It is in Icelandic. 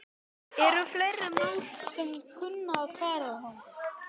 Eru fleiri mál sem að kunna að fara þangað þá?